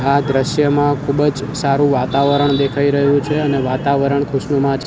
આ દ્રશ્યમાં ખુબજ સારૂ વાતાવરણ દેખાઈ રહ્યુ છે અને વાતાવરણ ખુશનુમા --